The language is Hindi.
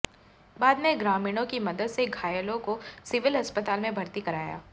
बाद में ग्रामीणों की मदद से घायलों को सिविल अस्पताल में भर्ती कराया